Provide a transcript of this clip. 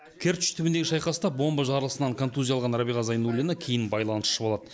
керчь түбіндегі шайқаста бомба жарылысынан контузия алған рәбиға зайнуллина кейін байланысшы болады